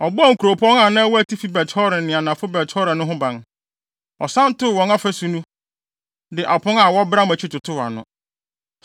Ɔbɔɔ nkuropɔn a na ɛwɔ atifi Bet-Horon ne anafo Bet-Horon no ho ban. Ɔsan too wɔn afasu no, de apon a wɔbram akyi totoo ano.